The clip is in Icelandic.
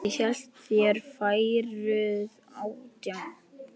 Ég hélt þér væruð átján.